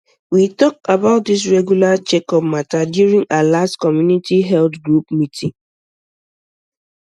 we talk about this regular checkup matter during our last community health group meeting